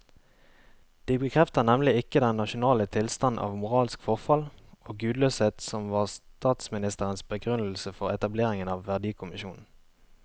De bekrefter nemlig ikke den nasjonale tilstand av moralsk forfall og gudløshet som var statsministerens begrunnelse for etableringen av verdikommisjonen.